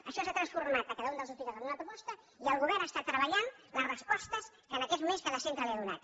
això s’ha transformat a cada un dels hospitals en una proposta i el govern està treballant les respostes que en aquests moments cada centre li ha donat